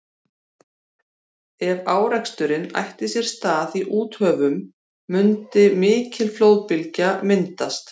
ef áreksturinn ætti sér stað í úthöfunum mundi mikil flóðbylgja myndast